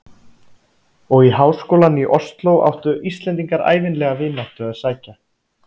Og í háskólann í Osló áttu Íslendingar ævinlega vináttu að sækja.